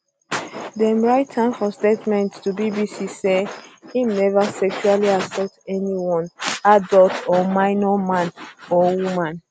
dem write for statement to bbc say im um never sexually assault anyone adult or minor man or um woman